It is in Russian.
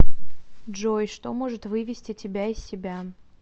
джой что может вывести тебя из себя